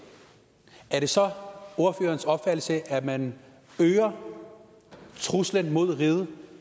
er det så ordførerens opfattelse at man øger truslen mod riget